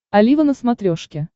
олива на смотрешке